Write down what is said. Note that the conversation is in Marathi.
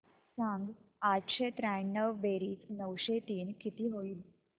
सांग आठशे त्र्याण्णव बेरीज नऊशे तीन किती होईल